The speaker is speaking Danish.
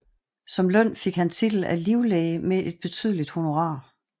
Som løn fik han titel af livlæge med et betydeligt honorar